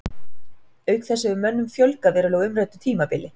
Auk þess hefur mönnum fjölgað verulega á umræddu tímabili.